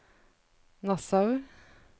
Nassau